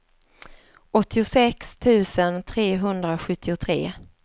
åttiosex tusen trehundrasjuttiotre